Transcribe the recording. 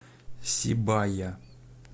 сибая